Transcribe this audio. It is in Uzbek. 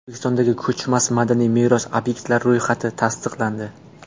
O‘zbekistondagi ko‘chmas madaniy meros obyektlari ro‘yxati tasdiqlandi.